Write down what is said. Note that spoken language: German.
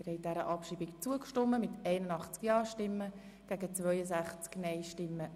Sie haben dieser Abschreibung zugestimmt.